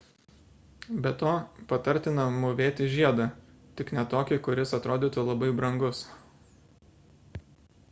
be to patartina mūvėti žiedą tik ne tokį kuris atrodytų labai brangus